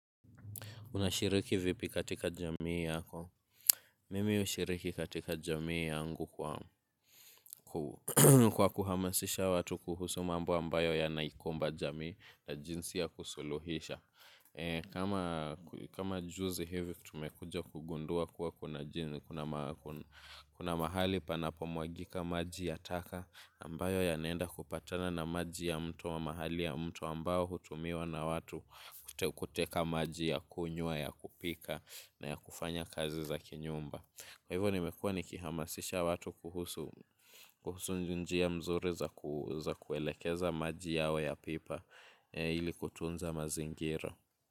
Unashiriki vipi katika jamii yako? Mimi ushiriki katika jamii yangu kwa kuhamasisha watu kuhusu mambo ambayo yanaikumba jamii na jinsi ya kusuluhisha. Kama juzi hivi tumekuja kugundua kuwa kuna mahali panapo mwagika maji ya taka ambayo ya naenda kupatana na maji ya mto wa mahali ya mto ambayo hutumiwa na watu kuteka maji ya kunyua ya kupika. Na ya kufanya kazi za kinyumba. Kwa hivyo nimekua nikihamasisha watu kuhusu njia mzuri za kuelekeza maji yao ya pipa ili kutunza mazingira.